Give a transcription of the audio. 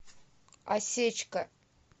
осечка